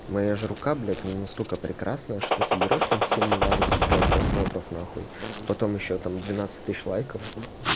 моя ж рука блять она настолько прекрасная что ты соберёшь там семь миллиардов блять просмотров нахуй потом ещё там двенадцать тысяч лайков